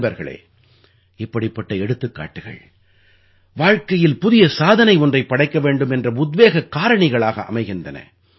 நண்பர்களே இப்படிப்பட்ட எடுத்துக்காட்டுகள் வாழ்க்கையில் புதிய சாதனை ஒன்றைப் படைக்க வேண்டும் என்ற உத்வேகக் காரணிகளாக அமைகின்றன